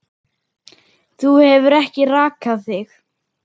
Þú hefur ekki rakað þig.